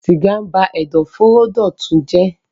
siga nba Ẹ̀dọ̀fóró Dọtun jé.